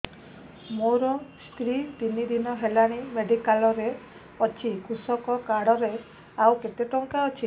ମୋ ସ୍ତ୍ରୀ ତିନି ଦିନ ହେଲାଣି ମେଡିକାଲ ରେ ଅଛି କୃଷକ କାର୍ଡ ରେ ଆଉ କେତେ ଟଙ୍କା ଅଛି